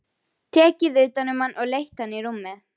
Tekið utan um hann og leitt hann í rúmið.